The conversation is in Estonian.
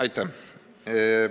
Aitäh!